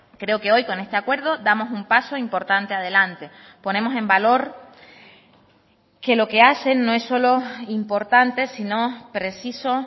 creo que hoy con este acuerdo damos un paso importante adelante ponemos en valor que lo que hacen no es solo importante sino preciso